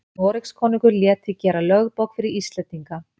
noregskonungur lét því gera lögbók fyrir íslendinga